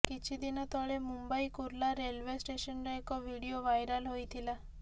କିଛି ଦିନ ତଳେ ମୁମ୍ବାଇ କୁର୍ଲା ରେଲେଓ୍ବ ଷ୍ଟେସନର ଏକ ଭିଡିଓ ଭାଇରାଲ୍ ହୋଇଥିଲା